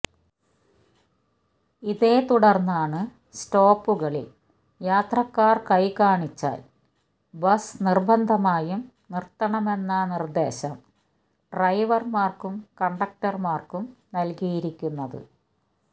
ഇതേ തുടർന്നാണ് സ്റ്റോപ്പുകളിൽ യാത്രക്കാർ കൈ കാണിച്ചാൽ ബസ് നിർബന്ധമായും നിർത്തണമെന്ന നിർദേശം ഡ്രൈവർമാർക്കും കണ്ടക്ടർമാർക്കും നൽകിയിരിക്കുന്നത്